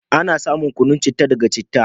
Ana samun kunun chittah ɗaga chittah.